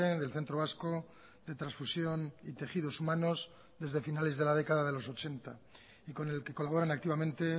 del centro vasco de transfusión y tejidos humanos desde finales de la década de los ochenta y con el que colaboran activamente